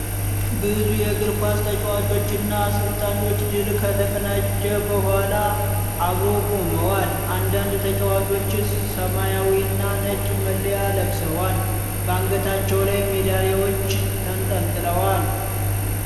ብዙ የእግር ኳስ ተጫዋቾች እና አሰልጣኞች ድል ከተቀዳጀ በኋላ አብረው ቆመዋል። አንዳንድ ተጫዋቾች ሰማያዊና ነጭ መለያ ለብሰዋል። በአንገታቸው ላይ ሜዳሊያዎች ተንጠልጥለዋል።